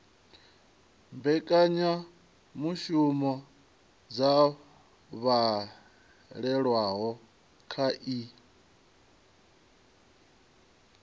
mbekanyamushumo dzo lavhelelwaho kha ii